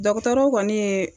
Dɔgɔtɔrɔw kɔni ye